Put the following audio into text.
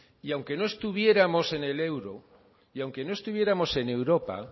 y aunque no estuviéramos en el euro y aunque no estuviéramos en europa